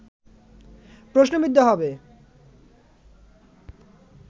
প্রশ্নবিদ্ধ হবে